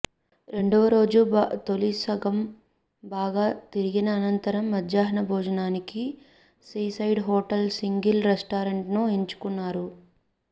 రెండవ రోజు తొలి సగం బాగా తిరిగిన అనంతరం మధ్యాహ్న భోజానికి సీసైడ్ హోటల్ సీగల్ రెస్టారెంట్ ను ఎంచుకున్నారు